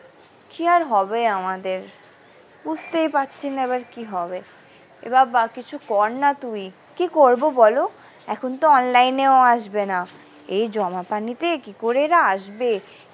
কি আর হবে আমাদের বুঝতেই পারছিনা এবার কি হবে এ বাবা কিছু কর না তুই কি করবো বলো এখন তো online এও আসবে না এই জমা পানিতে কি করে এরা আসবে।